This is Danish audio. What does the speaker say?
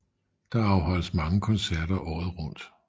Der afholdes mange koncerter året rundt